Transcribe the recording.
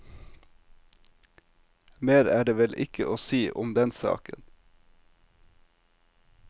Mer er det vel ikke å si om den saken.